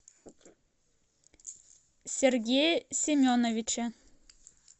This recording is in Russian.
сергее семеновиче